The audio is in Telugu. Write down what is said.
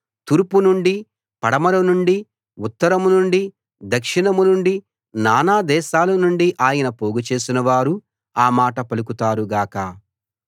తూర్పు నుండి పడమర నుండి ఉత్తరం నుండి దక్షిణం నుండి నానాదేశాల నుండి ఆయన పోగు చేసినవారూ ఆ మాట పలుకుతారు గాక